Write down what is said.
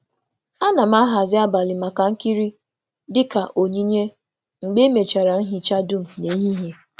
um A na um A na m a hazi abalị maka nkiri dị ka onyinye mgbe um emechara nhicha dum n’ehihie.